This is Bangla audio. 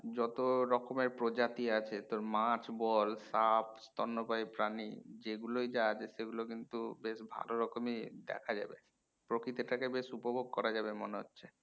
যত রকমের প্রজাতি আছে তোর মাছ বল সাপ স্তন্যপায়ী প্রাণী যেগুলোয় যা আছে সেগুলো কিন্তু বেশ ভালো রকমই দেখা যাবে প্রকৃতিটাকে বেশ উপভোগ করা যাবে মনে হচ্ছে